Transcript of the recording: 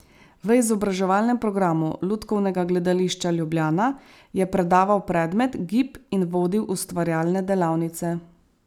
V izobraževalnem programu Lutkovnega gledališča Ljubljana je predaval predmet gib in vodil ustvarjalne delavnice.